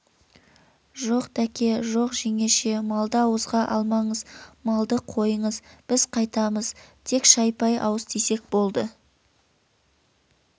жоқ дәке жоқ жеңеше малды ауызға алмаңыз малды қойыңыз біз қайтамыз тек шай-пай ауыз тисек болды